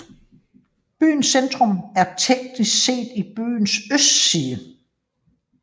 Byens centrum er teknisk set i byens østside